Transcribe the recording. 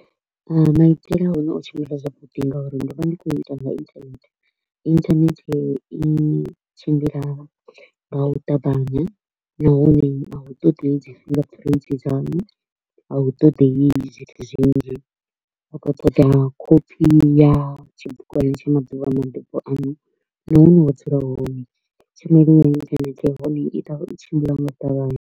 Maitele a hone o tshimbila zwavhuḓi nga uri ndo vha ndi kho u ita nga internet, internet i tshimbila nga u ṱavhanya nahone a hu ṱoḓei dzi finger print dza hone. A hu ṱoḓei zwithu zwinzhi, hu kho u ṱoḓea copy ya tshibugwana tsha maḓuvha a mabebo anu na hune na dzula hone. hone i tshimbila nga u ṱavhanya.